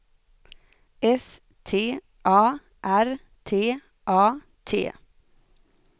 S T A R T A T